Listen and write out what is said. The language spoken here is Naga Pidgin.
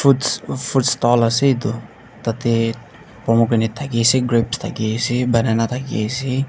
fruits fruits stall ase edu tatae pomegranate thakiase grapes thakiase banana thakiase.